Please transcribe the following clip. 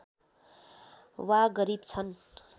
वा गरिब छन्